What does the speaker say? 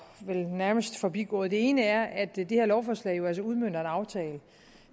nærmest forbigået den ene er at det her lovforslag jo altså udmønter en aftale